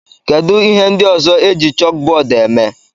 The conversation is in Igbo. Kedu ihe ndị ọzọ eji chókbọọdụ èmè?